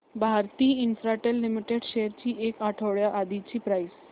Bharti Infratel limited shares ची एक आठवड्या आधीची प्राइस